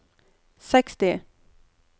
seksti